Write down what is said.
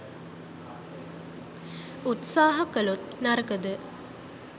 උත්සහ කලොත් නරකද?